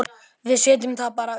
Við setjum það bara uppá.